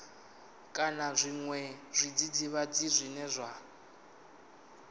kana zwiṅwe zwidzidzivhadzi zwine zwa